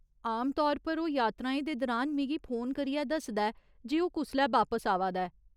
आमतौर पर ओह् यात्राएं दे दरान मिगी फोन करियै दस्सदा ऐ जे ओह् कुसलै बापस आवा दा ऐ।